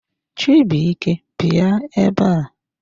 Chibuike bịa ebe a!